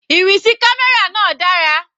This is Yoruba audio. Ìrìn sí camera náà dára.